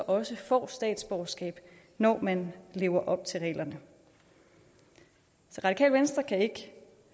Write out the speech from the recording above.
også får statsborgerskab når man lever op til reglerne så radikale venstre kan ikke